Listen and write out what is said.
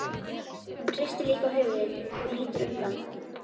Hún hristir líka höfuðið og lítur undan.